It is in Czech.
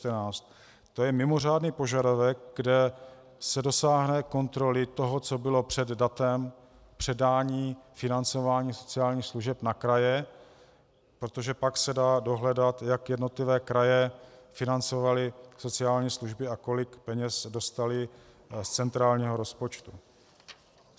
To je mimořádný požadavek, kde se dosáhne kontroly toho, co bylo před datem předání financování sociálních služeb na kraje, protože pak se dá dohledat, jak jednotlivé kraje financovaly sociální služby a kolik peněz dostaly z centrálního rozpočtu.